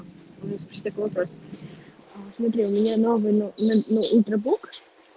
у меня новый ультрабук